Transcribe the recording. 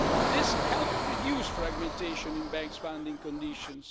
This helped reduce fragmentation in banks' funding conditions.